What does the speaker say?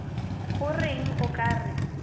go reng o ka re